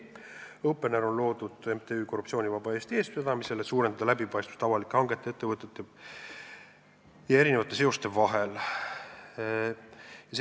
Opener on loodud MTÜ Korruptsioonivaba Eesti eestvedamisel, et suurendada läbipaistvust avalike hangete, ettevõtete ja erinevate seoste vahel.